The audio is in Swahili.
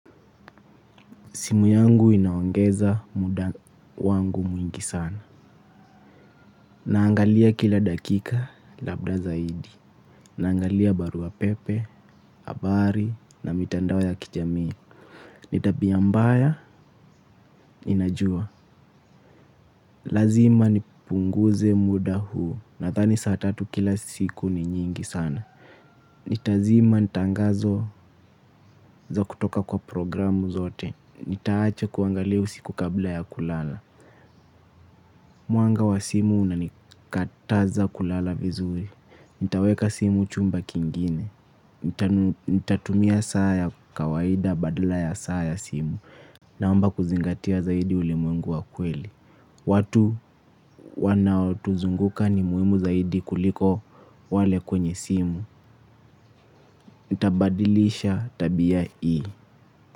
Simu yangu inaongeza muda wangu mwingi sana. Naangalia kila dakika labda zaidi. Naangalia barua pepe, habari na mitandao ya kijamii. Nitabia mbaya ninajua. Lazima nipunguze muda huu nadhani saa tatu kila siku ni nyingi sana Nitazima tangazo za kutoka kwa programu zote. Nitaacha kuangalia usiku kabla ya kulala. Mwanga wa simu unanikataza kulala vizuri, nitaweka simu chumba kingine. Nitatumia saa ya kawaida badala ya saa ya simu. Naomba kuzingatia zaidi ulimwengu wa kweli. Watu wanaotuzunguka ni muhimu zaidi kuliko wale kwenye simu. Nitabadilisha tabia hii.